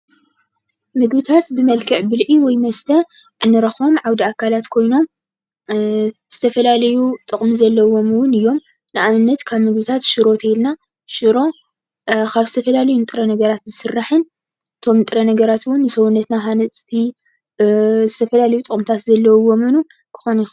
ምግብታት ብመልክዕ ብልዒ ወይ መስተ እንረክቦም ዓውደ አካላት ኮይኖም ዝተፈላለዩ ጥቅሚ ዘለዎም እውን እዮም። ንኣብነት ካብ ምግብታት ሽሮ እንተኢልና ሽሮ ካብ ዝተፈላለዩ ጥረ ነገራት ዝስራሕን እቶም ጥረ ነገራት እውን ንሰውነትና ሃናፅቲ ዝተፈላለዩ ጥቅምታት ዘለዎምን ክኾኑ ይክእሉ።